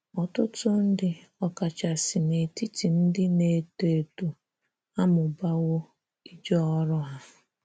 Ọtụtụ ndị, ọ kachasi n’etiti ndị na - eto eto, amụbawo ije oru ha.